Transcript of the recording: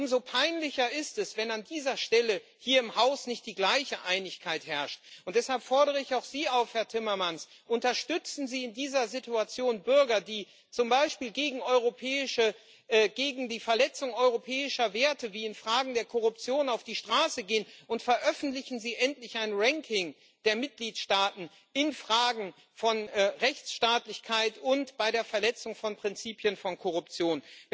Und umso peinlicher ist es, wenn an dieser Stelle hier im Haus nicht die gleiche Einigkeit herrscht. Deshalb fordere ich auch Sie auf, Herr Timmermans Unterstützen Sie in dieser Situation Bürger, die zum Beispiel gegen die Verletzung europäischer Werte wie in Fragen der Korruption auf die Straße gehen, und veröffentlichen Sie endlich ein Ranking der Mitgliedstaaten in Fragen von Rechtsstaatlichkeit und bei der Verletzung von Prinzipien, von Korruption.